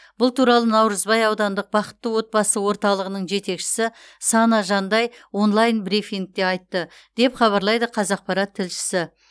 бұл туралы наурызбай аудандық бақытты отбасы орталығының жетекшісі сана жандай онлайн брифингте айтты деп хабарлайды қазақпарат тілшісі